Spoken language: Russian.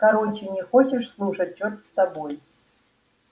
короче не хочешь слушать черт с тобой